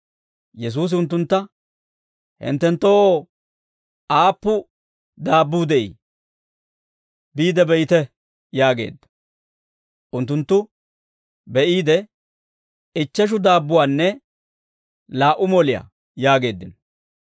Yesuusi unttuntta, «Hinttenttoo aappun daabbuu de'ii? Biide be'ite» yaageedda. Unttunttu be'iide, «Ichcheshu daabbuwaanne laa"u moliyaa» yaageeddino.